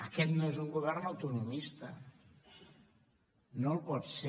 aquest no és un govern autonomista no ho pot ser